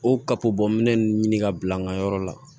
O kapobɔminɛn nun ɲini ka bila an ka yɔrɔ la